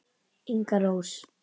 Inga Rós.